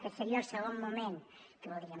aquest seria el segon moment que voldríem